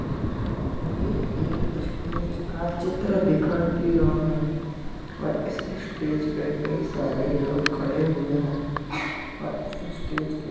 ये एक स्टेज का चित्र दिखाई दे रहा है और इस स्टेज पर कई सारे लोग खड़े हुए हैं और इस स्टेज के --